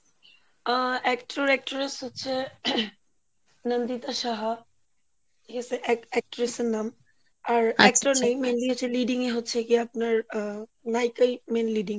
আ, Actor Actress হচ্ছে, নন্দিতা সাহা এ হস্সে এক~ Actree এর নাম, আর Actor নেই mainly হচ্ছে leading হচ্ছে কি আপনার আহ নায়িকাই main leading